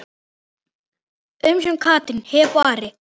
Umsjón Katrín, Heba og Ari.